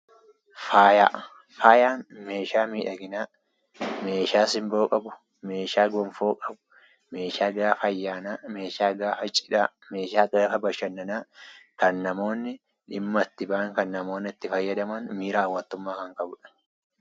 Faayaan meeshaa miidhaginaa, meeshaa simboo qabu, meeshaa gonfoo qabu, meeshaa gaafa ayyaanaa, meeshaa gaafa cidhaa, meeshaa gaafa bashannanaa kan namoonni dhimma itti bahan, kan namoonni itti fayyadaman miiraa hawwattummaa kan qabudha.